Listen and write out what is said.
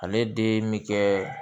Ale den bi kɛ